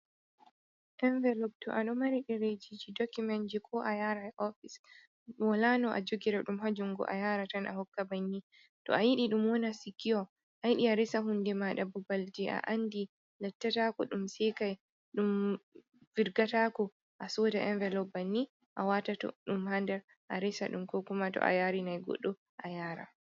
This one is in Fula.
Envilob, to a ɗo mari ɗereejiji dokumenji ko a yaara oofis walaa no a jogira ɗum haa junngo a yara tan a hokka banni, to a yiɗi ɗum wona sikiwo a yiɗi a resa huunde maaɗa babal jey a anndi lattataako ɗum seekay ɗum virgataako a sooda envilob banni a waatata ɗum haa nder a resa ɗum koo kuma to a yaari nay goɗɗo a yaara.